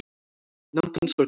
Nánd hans var góð.